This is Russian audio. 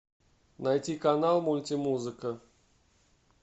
найти канал мульти музыка